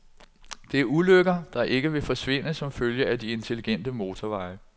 Det er ulykker, der ikke vil forsvinde som følge af de intelligente motorveje.